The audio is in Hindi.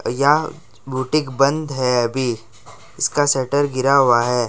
या बुटीक बंद है अभी इसका सटर गिरा हुआ है।